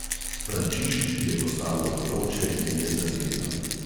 Frančiški je postalo vroče in je zardela.